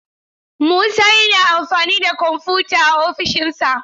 Musa yana amfani da kwamfuta a ofishina.